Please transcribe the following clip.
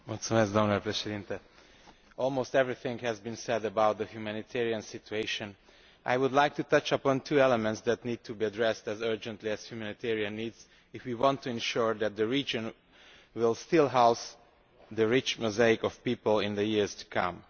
Mr President, almost everything has been said about the humanitarian situation. I would like to touch upon two elements that need to be addressed just as urgently as humanitarian needs if we want to ensure that the region will still house its rich mosaic of peoples in the years to come.